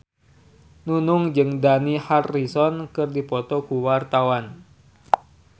Nunung jeung Dani Harrison keur dipoto ku wartawan